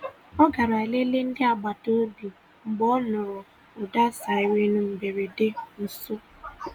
Ọ garà leleè ndị agbata obi mgbe ọ nụrụ̀ ụda siren mberede nso.